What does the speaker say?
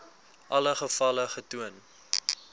alle gevalle getoon